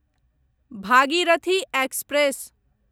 Bhagirathi express